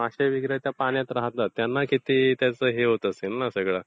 मासे वगैरे आता पाण्यात राहतात त्यांना त्यांना किती त्याचं हे होत असेल ना सगळं?